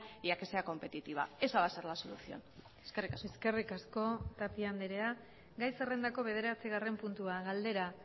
y a que sea competitiva esa va a ser la solución eskerrik asko eskerrik asko tapia andrea gai zerrendako bederatzigarren puntua galdera